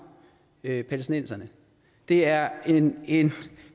palæstinenserne det er en en